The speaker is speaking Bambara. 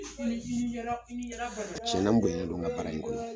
Tiɲɛnna n bonyalen don nka baara in kɔnɔ.